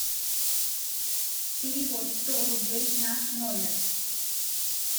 перевод сто рублей на номер